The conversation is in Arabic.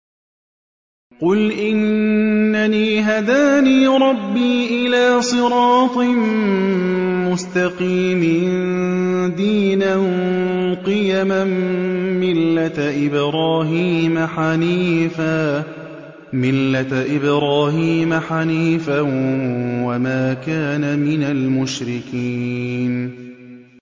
قُلْ إِنَّنِي هَدَانِي رَبِّي إِلَىٰ صِرَاطٍ مُّسْتَقِيمٍ دِينًا قِيَمًا مِّلَّةَ إِبْرَاهِيمَ حَنِيفًا ۚ وَمَا كَانَ مِنَ الْمُشْرِكِينَ